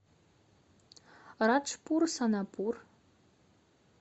раджпур сонапур